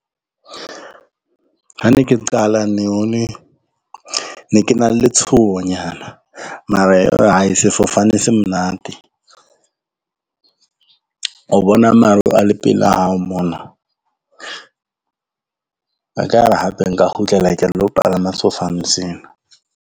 Ha ne ke qala ne ke na le letshohonyana, mara hai sefofane se monate. O bona maru a le pela hao mona, a ka re hape nka kgutlela ka lo palama sefofane seno.